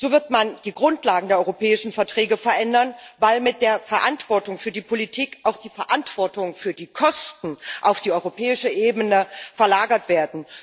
So wird man die Grundlagen der Europäischen Verträge verändern, weil mit der Verantwortung für die Politik auch die Verantwortung für die Kosten auf die europäische Ebene verlagert wird.